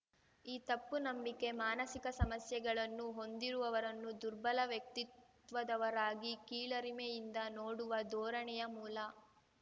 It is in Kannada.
ಈ ತಪ್ಪು ನಂಬಿಕೆ ಮಾನಸಿಕ ಸಮಸ್ಯೆಗಳನ್ನು ಹೊಂದಿರುವವರನ್ನು ದುರ್ಬಲ ವ್ಯಕ್ತಿತ್ವದವರಾಗಿ ಕೀಳರಿಮೆಯಿಂದ ನೋಡುವ ಧೋರಣೆಯ ಮೂಲ